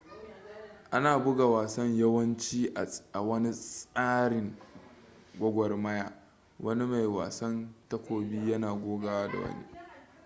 ana buga wasan yawanci a wani tsarin gwagwarmaya wani mai wasan takobi yana gogawa da wani